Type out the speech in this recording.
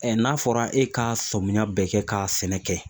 n'a fɔra e ka sɔmiya bɛɛ kɛ ka sɛnɛ kɛ